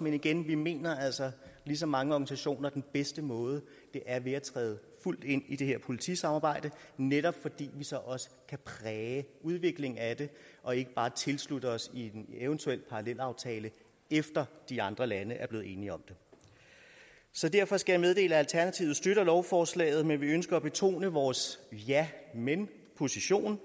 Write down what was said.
men igen vi mener altså ligesom mange organisationer at den bedste måde er ved at træde fuldt ind i det her politisamarbejde netop fordi vi så også kan præge udviklingen af det og ikke bare tilslutte os en eventuel parallelaftale efter de andre lande er blevet enige om det så derfor skal jeg meddele at alternativet støtter lovforslaget men vi ønsker at betone vores ja men position